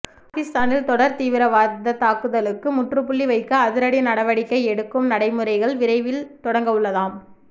பாகிஸ்தானின் தொடர் தீவிரவாத தாக்குதலுக்கு முற்றுப்புள்ளி வைக்க அதிரடி நடவடிக்கை எடுக்கும் நடைமுறைகள் விரைவில் தொடங்கவுள்ளதாம்